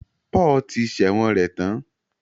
Paul ti sẹ̀wọ̀n rẹ̀ tán